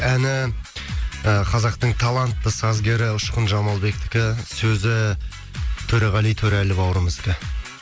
әні ы қазақтың талантты сазгері ұшқын жамалбектікі сөзі төреғали төрәлі бауырымыздікі